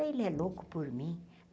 Ele é louco por mim.